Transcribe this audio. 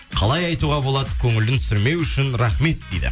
қалай айтуға болады көңілін түсірмеуі үшін рахмет дейді